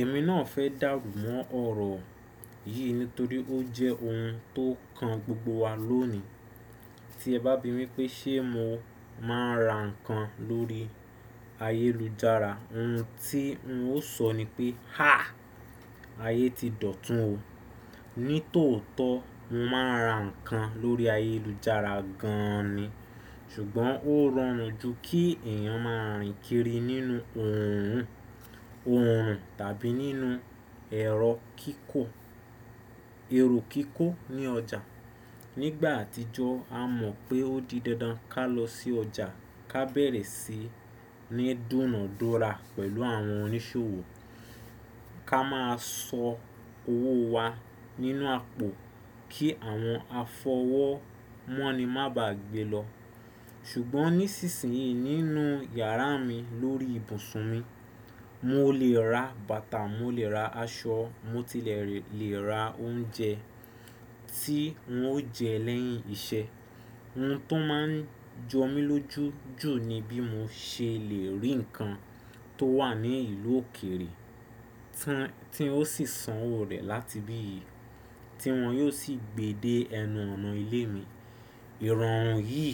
Èmi náà fẹ́ dàrùmọ́ ọ̀rọ̀ yìí nítorí ó jẹ́ ohun tó kan gbogbo wa lónìí. Tí ẹ bá bímí pé ṣé mo máa ra nǹkan lórí ayélujára, ohun tí n ó sọ ni pé, háà! Ayé ti dọ̀tún o. Nítòótó mo máa ra ǹkan lórí ayélujára gan an ni. Ṣùgbọ́n ó rọrùn jù kí èèyàn máa rìn kiri nínú oòrùn tàbí nínú ẹrọ kíkó èrò kiko ní ọjà. Nígbà àtijọ́ a mọ̀ pé ó di dandan ká lọ sí ọjà, ká bẹ̀rẹ̀ sí ní dùnna dúra pẹ̀lú àwọn oníṣòwò, ká máa sọ owó wa nínú àpò kí àwọn afọwọ́ mọ́ni má bá gbé lọ. Ṣùgbọ́n nísinsìnyí nínú yàrá mi lórí ìbùsùn mi, mo lè ra bàtà, mo lè ra aṣọ, mo tilẹ̀ lè ra oúnjẹ tí n ó jẹ́ lẹ́yìn iṣẹ́. Ohun tó máa ń jọ mí lójú jù ni bí mo ṣe lè rí nǹkan tó wà ní ìlú òkèrè tí ó sì san owó rẹ̀ láti bí yìí, tí wọ́n yóò sì gbe dé ẹnu ọ̀nà ilé mi. Ìrọ̀rùn yìí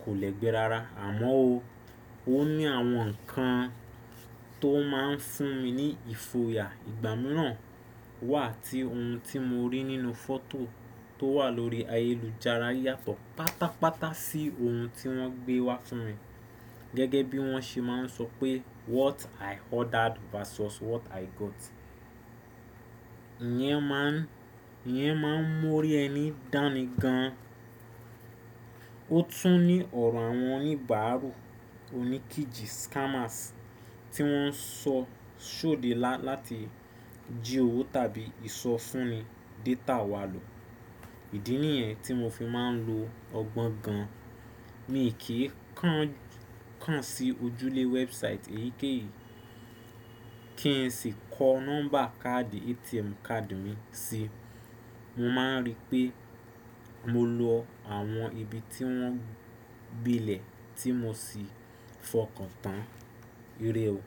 kò lẹ́gbẹ́ rara, àmọ́ o. Ó ní àwọn nǹkan tó máa ń fún mi ní ìfòyà. Ìgbámírà wà tí ohun tí mo rí nínú fọ́tò tó wà lórí ayélujára yàtọ̀ pátápátá sí ohun tí wọ́n gbé wá fún mi. Gẹ́gẹ́ bí wọ́n ṣe máa ń sọ pé “What I ordered versus what I got.” Ìyẹn máa ń mú ọ̀ri ẹni dání gan an. Ó tún ní ọ̀rọ̀ àwọn oníbàárù oníkìjì scammers tí wọ́n ń sọ sóde láti jí owó tàbí ìsọfúnni data wa lò. Ìdí nìyẹn tí mo fi máa ń lo ọgbọ́n gan an. Mi ò kí ń kàn sí ojúlẹ̀ website èyíkéyìí kíi sì kọ nọ́mbà káàdì ATM card mi si. Mo máa ń rí pé mo lo àwọn ibi tí wọ́n gbilẹ̀ tí mo sì fọkàn tán. Ìrè o.